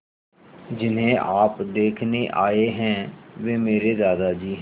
जिन्हें आप देखने आए हैं वे मेरे दादाजी हैं